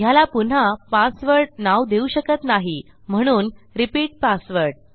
ह्याला पुन्हा पासवर्ड नाव देऊ शकत नाही म्हणून रिपीट पासवर्ड